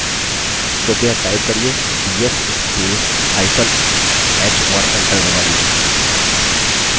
कृपया type करिये df spacehyphen h और enter दबाइए